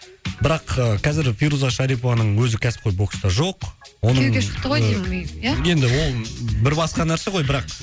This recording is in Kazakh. бірақ ыыы қазір фируза шарипованың өзі кәсіпқой бокста жоқ оның күйеуге шықты ғой деймін негізінде ия енді ол бір басқа нәрсе гой бірақ